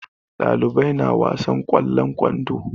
Ɗalibai na wasan ƙwallon kwando.